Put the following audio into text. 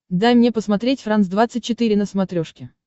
дай мне посмотреть франс двадцать четыре на смотрешке